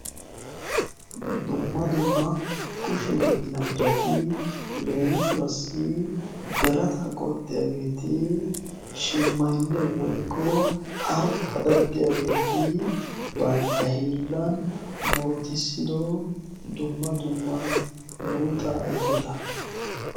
dumma dumma kushi hiillanchchaatii leemisuwassi birata qoxxiyaageeti shimmaynne woykko haripaa daddiyaageeti bantta hiillan murutissido dumma dumma muruta ayfeta